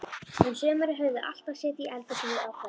Um sumarið höfðu þau alltaf setið í eldhúsinu á kvöldin.